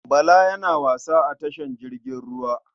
Bala yana wasa a tashar jirgin ruwa.